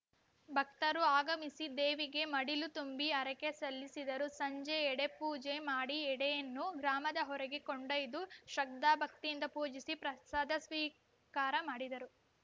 ಭಕ್ತರು ಆಗಮಿಸಿ ದೇವಿಗೆ ಮಡಿಲು ತುಂಬಿ ಹರಕೆ ಸಲ್ಲಿಸಿದರು ಸಂಜೆ ಎಡೆಪೂಜೆ ಮಾಡಿ ಎಡೆಯನ್ನು ಗ್ರಾಮದ ಹೊರೆಗೆ ಕೊಂಡೊಯ್ದು ಶ್ರದ್ಧಾಭಕ್ತಿಯಿಂದ ಪೂಜಿಸಿ ಪ್ರಸಾದ ಸ್ವೀಕಾರ ಮಾಡಿದರು